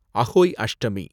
Ahoi Ashtami